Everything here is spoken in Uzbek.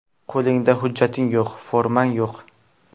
Qo‘lingda hujjating yo‘q, formang yo‘q.